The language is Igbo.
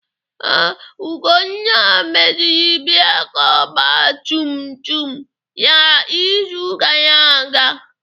Ee, Ugonna meziri breeki ọgba tum tum ya izu gara aga.